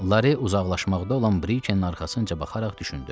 Lare uzaqlaşmaqda olan Brikenin arxasınca baxaraq düşündü.